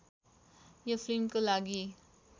यो फिल्मको लागि